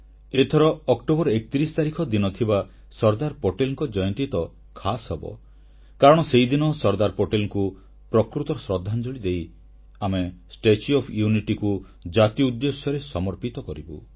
ଏଥର ଅକ୍ଟୋବର 31 ତାରିଖ ଦିନ ଥିବା ସର୍ଦ୍ଦାର ପଟେଲଙ୍କ ଜୟନ୍ତୀ ତ ଖାସ୍ ହେବ କାରଣ ସେହିଦିନ ସର୍ଦ୍ଦାର ପଟେଲଙ୍କୁ ପ୍ରକୃତ ଶ୍ରଦ୍ଧାଞ୍ଜଳି ଦେଇ ଆମେ ଏକତାର ପ୍ରତିମୂର୍ତ୍ତି ବା ଷ୍ଟାଚ୍ୟୁ ଓଏଫ୍ Unityକୁ ଜାତି ଉଦ୍ଦେଶ୍ୟରେ ସମର୍ପିତ କରିବୁ